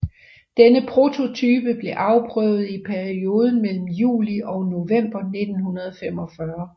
Denne prototype blev afprøvet i perioden mellem juli og november 1945